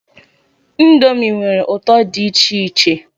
Ndomi nwere ụtọ dị icheiche